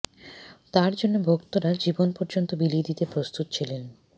তাঁর জন্য ভক্তরা জীবন পর্যন্ত বিলিয়ে দিতে প্রস্তুত ছিলেন